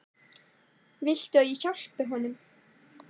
Viltu að ég hjálpi honum?